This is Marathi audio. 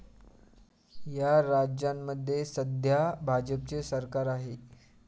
या राज्यांमध्ये सध्या भाजपचे सरकार आहे.